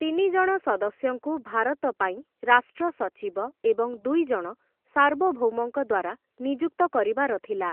ତିନି ଜଣ ସଦସ୍ୟଙ୍କୁ ଭାରତ ପାଇଁ ରାଷ୍ଟ୍ର ସଚିବ ଏବଂ ଦୁଇ ଜଣ ସାର୍ବଭୌମଙ୍କ ଦ୍ୱାରା ନିଯୁକ୍ତ କରିବାର ଥିଲା ।